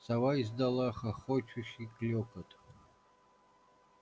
сова издала хохочущий клёкот